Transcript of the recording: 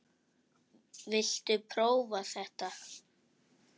Viltu prófa þetta?